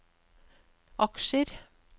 aksjer